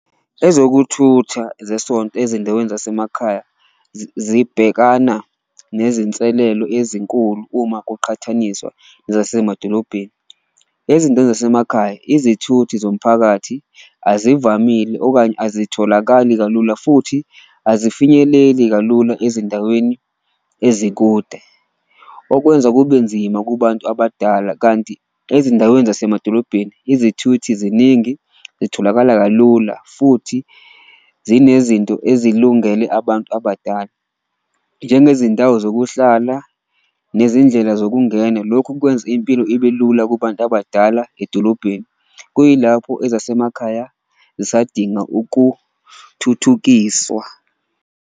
Ezokuthutha zesonto ezindaweni zasemakhaya zibhekana nezinselelo ezinkulu uma kuqhathaniswa zasemadolobheni. Ezindaweni zasemakhaya izithuthi zomphakathi azivamile okanye azitholakali kalula futhi azifinyeleli kalula ezindaweni ezikude, okwenza kube nzima kubantu abadala. Kanti ezindaweni zasemadolobheni izithuthi ziningi, zitholakala kalula futhi zinezinto ezilungele abantu abadala njengezindawo zokuhlala, nezindlela zokungena. Lokhu kwenza impilo ibe lula kubantu abadala edolobheni, kuyilapho ezasemakhaya zisadinga ukuthuthukiswa.